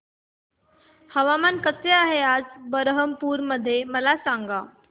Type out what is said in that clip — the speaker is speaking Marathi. हवामान कसे आहे आज बरहमपुर मध्ये मला सांगा